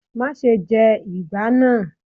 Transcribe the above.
Máa se jẹ ìgbá náà.